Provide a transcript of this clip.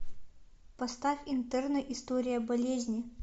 поставь интерны история болезни